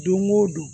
Don o don